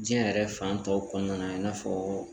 Diɲɛ yɛrɛ fan tɔw kɔnɔna na i n'a fɔɔ.